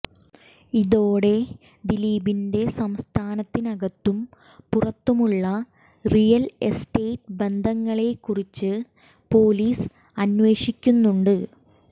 ഇതോടെ ദിലീപിന്റെ സംസ്ഥാനത്തിനകത്തും പുറത്തുമുള്ള റിയൽ എസ്റ്റേറ്റ് ബന്ധങ്ങളെ കുറിച്ച് പൊലീസ് അന്വേഷിക്കുന്നുണ്ട്